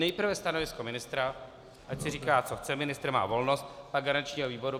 Nejprve stanovisko ministra, ať si říká, co chce, ministr má volnost, pak garančního výboru.